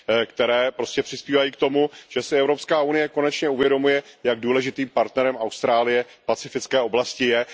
které prostě přispívají k tomu, že si EU konečně uvědomuje, jak důležitým partnerem Austrálie v pacifické oblasti je.